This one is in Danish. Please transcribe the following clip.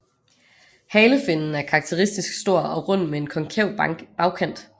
Halefinnen er karakteristisk stor og rund med konkav bagkant